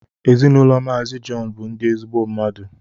Ezinụlọ mazi John bu ndi ezigbo mmadụ